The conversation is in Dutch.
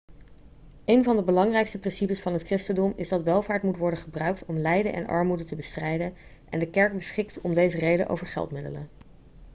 een van de belangrijkste principes van het christendom is dat welvaart moet worden gebruikt om lijden en armoede te bestrijden en de kerk beschikt om deze reden over geldmiddelen